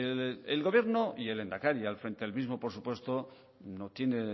el gobierno y el lehendakari al frente del mismo por supuesto no tiene